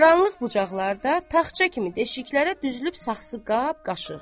Qaranlıq bucaqlarda tağça kimi deşiklərə düzülüb saxsi qab qaşıq.